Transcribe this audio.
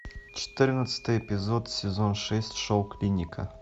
четырнадцатый эпизод сезон шесть шоу клиника